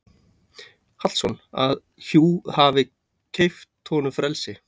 Hallsson að hjú hafi keypt honum frelsi.